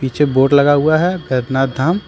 पीछे बोर्ड लगा हुआ है बैद्यनाथ धाम।